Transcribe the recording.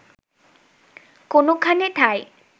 কোনোখানে ঠাঁই